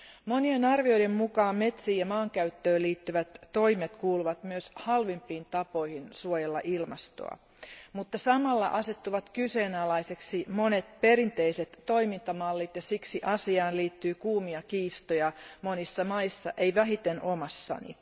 Monien arvioiden mukaan metsiin ja maankäyttöön liittyvät toimet kuuluvat myös halvimpiin tapoihin suojella ilmastoa, mutta samalla asettuvat kyseenalaisiksi monet perinteiset toimintamallit ja siksi asiaan liittyy kuumia kiistoja monissa maissa, ei vähiten omassani.